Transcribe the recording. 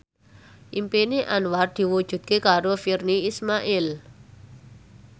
impine Anwar diwujudke karo Virnie Ismail